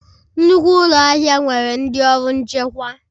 Nnukwu ụlọ ahịa nwere ndị ọrụ nchekwa